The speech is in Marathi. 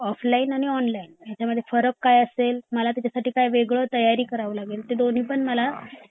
ऑफलाइन आणि ऑनलाइन ह्या मध्ये फरक काय असेल आणि मला त्याचसाठी वेगळी काय तयारी करावी लागेल ते दोन्ही पण मला